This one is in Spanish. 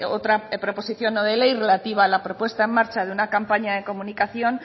otra proposición no de ley relativa a la propuesta en marcha de una campaña de comunicación